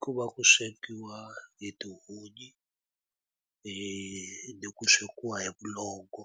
Ku va ku swekiwa hi tihunyi ni ku swekiwa hi vulongo,